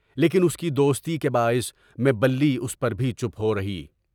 لیکن اس کی دوستی کے باعث میں بلّی اس پر چُپ ہو رہی۔